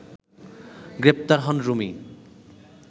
গ্রেপ্তার হন রুমি